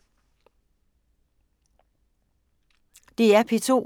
DR P2